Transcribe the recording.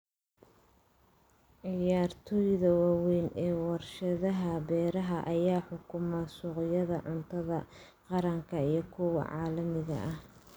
Ciyaartoyda waaweyn ee warshadaha beeraha ayaa xukuma suuqyada cuntada qaranka iyo kuwa caalamiga ah.